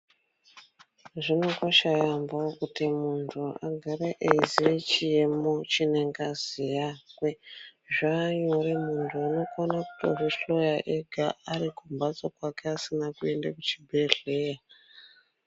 Zvinokosha yaambo kuti muntu agare eiziye chiemo chine ngazi yakwe. Zvanyore muntu unokona kutozvihloya ega ari kumhatso kwake asina kuenda kuzvibhedhleya.